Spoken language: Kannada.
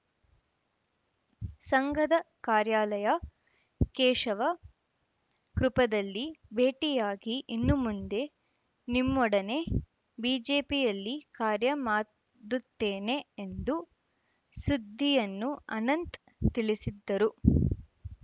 ಸಂಘದ ಕಾರ್ಯಾಲಯ ಕೇಶವ ಕೃಪದಲ್ಲಿ ಭೇಟಿಯಾಗಿ ಇನ್ನುಮುಂದೆ ನಿಮ್ಮೊಡನೆ ಬಿಜೆಪಿಯಲ್ಲಿ ಕಾರ್ಯ ಮಾಡುತ್ತೇನೆ ಎಂದು ಸುದ್ದಿಯನ್ನು ಅನಂತ್‌ ತಿಳಿಸಿದ್ದರು